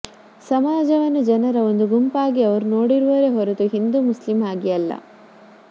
ಸಮಾಜವನ್ನು ಜನರ ಒಂದು ಗುಂಪಾಗಿ ಅವರು ನೋಡಿರುವರೇ ಹೊರತು ಹಿಂದೂ ಮುಸ್ಲಿಂ ಆಗಿ ಅಲ್ಲ